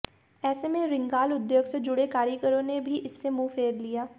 ऐसे में रिंगाल उद्योग से जुड़े कारीगरों ने भी इससे मुंह फेर लिया